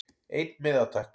Einn miða takk